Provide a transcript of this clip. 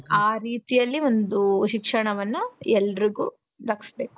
ಆ ರೀತಿ ಅಲ್ಲಿ ಒಂದು ಶಿಕ್ಷಣವನ್ನ ಎಲ್ರಿಗೂ ದಕ್ಕಸ್ಬೇಕು.